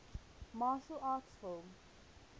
martial arts film